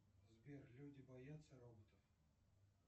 сбер люди боятся роботов